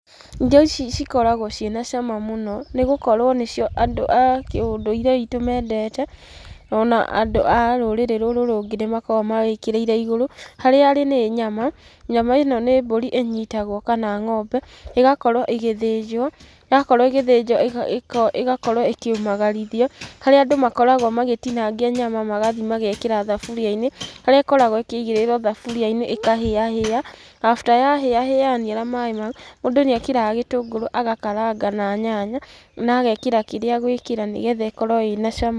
Irio ici cikoragwo ci na cama mũno, nĩ gũkorwo nĩcio andũ a kĩ ũndũire witũ mendete o na andũ a rũrĩrĩ rũrũ rũngĩ nĩ makoragwo mawĩkĩrĩire igũrũ. Harĩa ĩrĩ nĩ nyama, nyama ĩ no nĩ mbũri ĩnyitagwo kana ng'ombe igakorwo ĩgĩthĩnjwo, yakorwo igĩthĩnjwo ĩgakorwo ĩkĩũmagarithio harĩa andũ makoragwo magĩtinangia nyama magathiĩ magekĩra thaburia-inĩ, harĩa ĩkoragwo ĩkĩigĩrĩrwo thaburia-inĩ ĩkahĩahĩa. After ya hĩahĩa yaniara maaĩ mau, mũndũ nĩ ekĩraga gĩtũngũrũ agakaranga na nyanya na agekĩra kĩrĩa egũĩkĩra nĩgetha ĩkorwo ĩ na cama.